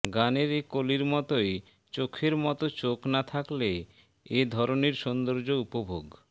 গানের এ কলির মতোই চোখের মতো চোখ না থাকলে এ ধরণীর সৌন্দর্য উপভোগ